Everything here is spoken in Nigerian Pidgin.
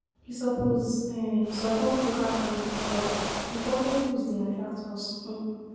We suppose um support local farmers, but imported goods dey attract us. um